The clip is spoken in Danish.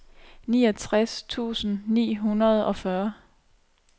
niogtres tusind ni hundrede og fyrre